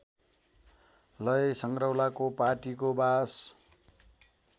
लय संग्रौलाको पाटीको बास